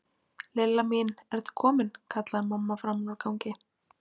Lilla mín, ertu komin? kallaði mamma framan úr gangi.